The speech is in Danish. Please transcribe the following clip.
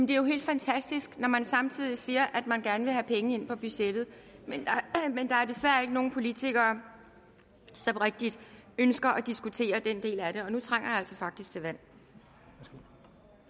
det er jo helt fantastisk når man samtidig siger at man gerne vil have penge ind på budgettet men der er desværre ikke nogen politikere som rigtigt ønsker at diskutere den del af det og nu trænger jeg altså faktisk til vand